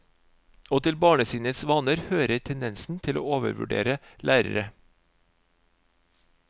Og til barnesinnets vaner hører tendensen til å overvurdere lærere.